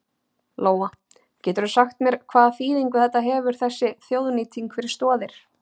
Lóa: Geturðu sagt mér hvaða þýðingu þetta hefur þessi þjóðnýting fyrir Stoðir?